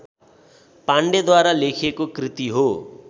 पाण्डेद्वारा लेखिएको कृति हो